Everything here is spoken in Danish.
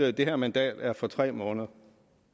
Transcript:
at det her mandat er for tre måneder